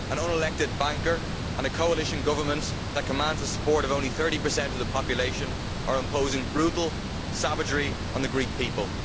An unelected banker and a coalition government that commands the support of only 30 of the population are imposing brutal savagery on the Greek people.